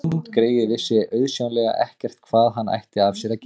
Hundgreyið vissi auðsjáanlega ekkert hvað hann ætti af sér að gera.